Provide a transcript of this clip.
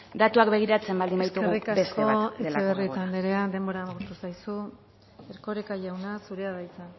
datuak begiratzen baldin baditugu beste bat delako denbora eskerrik asko etxebarrieta anderea denbora agortu zaizu erkoreka jauna zurea da hitza